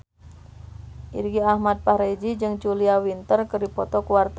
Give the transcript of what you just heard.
Irgi Ahmad Fahrezi jeung Julia Winter keur dipoto ku wartawan